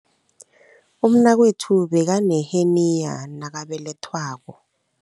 Umnakwethu bekaneheniya nakabelethwako.